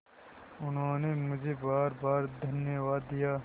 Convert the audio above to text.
उन्होंने मुझे बारबार धन्यवाद दिया